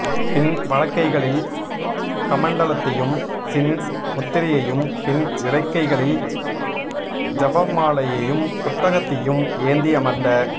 பின் வலக்கைகளில் கமண்டலத்தையும் சின் முத்திரையையும் பின் இடக்கைகளில் ஜபமாலையையும் புத்தகத்தையும் ஏந்தி அமர்ந்த